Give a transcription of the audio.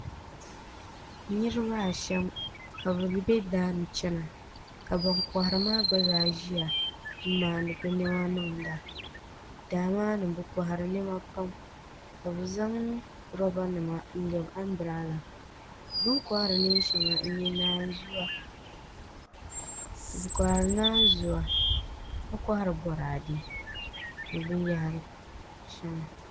Niraba ashɛm ka bi bɛ daani chɛna ka ban kohari maa gba zaa ʒiya n maandi bi niɛma niŋda daa maa ni bi kohari niɛma pam ka bi zaŋ roba nima n lɛbi anbirala bini kohari neen shɛŋa n nyɛ naanzuwa ka kohari Boraadɛ ni binyahari shɛŋa